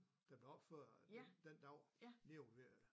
Der blev opført den dag lige ved